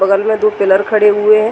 बगल में दो पिलर खड़े हुए हैं।